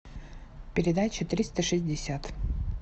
передача триста шестьдесят